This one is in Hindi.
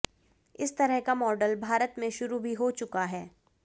इस तरह का मॉडल भारत में शुरू भी हो चुका है